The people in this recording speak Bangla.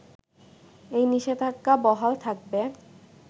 এই নিষেধাজ্ঞা বহাল থাকবে